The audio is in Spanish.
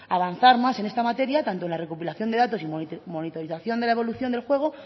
avanzar más en esta materia tanto en la recopilación de datos y monitorización de la evolución del juego